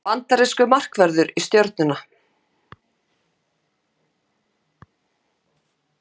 Bandarískur markvörður í Stjörnuna